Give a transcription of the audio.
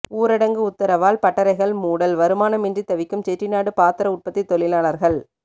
ஊரடங்கு உத்தரவால் பட்டறைகள் மூடல் வருமானமின்றி தவிக்கும் செட்டிநாடு பாத்திர உற்பத்தி தொழிலாளர்கள்